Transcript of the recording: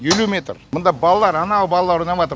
елу метр мына балалар ана балалар ойнапатыр